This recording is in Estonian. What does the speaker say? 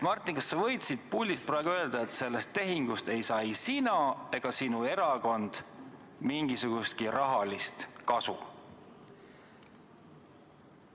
Martin, kas sa võid siit puldist praegu öelda, et sellest tehingust ei saa ei sina ega sinu erakond mingisugustki rahalist kasu?